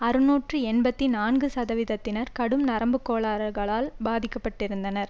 அறுநூற்று எண்பத்தி நான்கு சதவீதத்தினர் கடும் நரம்புக்கோளாறுகளால் பாதிக்க பட்டிருந்தனர்